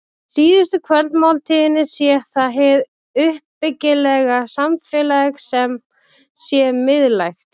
Í síðustu kvöldmáltíðinni sé það hið uppbyggilega samfélag sem sé miðlægt.